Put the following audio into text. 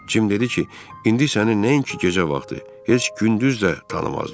Cim dedi ki, indi səni nəinki gecə vaxtı, heç gündüz də tanımazlar.